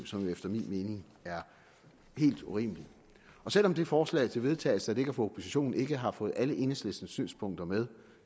som efter min mening er helt urimelig selv om det forslag til vedtagelse der ligger fra oppositionen ikke har fået alle enhedslistens synspunkter med